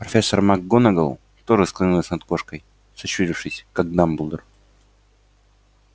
профессор макгонагалл тоже склонилась над кошкой сощурившись как дамблдор